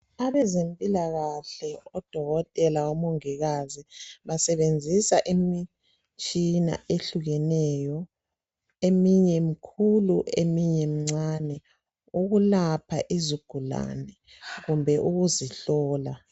Abezempilakahle odokotela, omongikazi basebenzisa imitshina ehlukeneyo eminye emikhulu, eminye mincane ukulapha izigulane kumbe ukuzihlola.